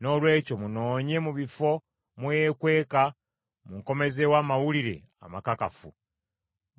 Noolwekyo munoonye mu bifo mwe yeekweka munkomezeewo amawulire amakakafu.